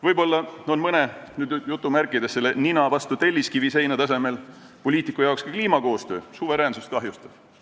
Võib-olla on mõne nina-vastu-telliskiviseina-tasemel poliitiku arvates ka kliimakoostöö suveräänsust kahjustav.